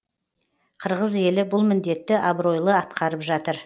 қырғыз елі бұл міндетті абыройлы атқарып жатыр